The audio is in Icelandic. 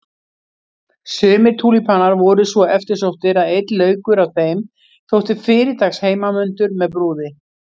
Sumir túlípanar voru svo eftirsóttir að einn laukur af þeim þótti fyrirtaks heimanmundur með brúði.